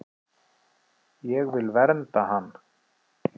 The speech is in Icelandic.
Ég vil vernda hann.